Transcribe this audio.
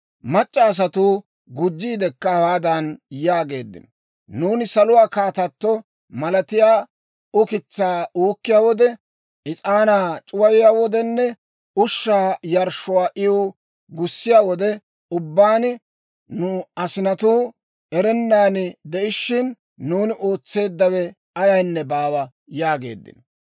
Mac'c'a asatuu gujjiidekka hawaadan yaageeddino; «Nuuni Saluwaa Kaatato malatiyaa ukitsaa uukkiyaa wode, is'aanaa c'uwayiyaa wodenne ushshaa yarshshuwaa iw gussiyaa wode ubbaan, nu asinatuu erennan de'ishiina, nuuni ootseeddawe ayaynne baawa» yaageeddino.